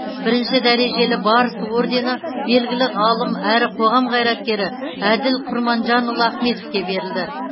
бірінші дәрежелі барыс орденібелгілі ғалым әрі қоғам қайраткері әділ құрманжанұлы ахметовке берілді